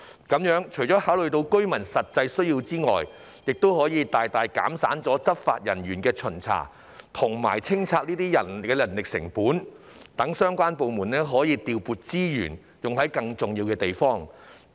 這做法除了可顧及居民的實際需要外，還可大大減省執法人員巡查和跟進拆卸工作的人力成本，讓相關部門可以調撥資源，處理更重要的工作。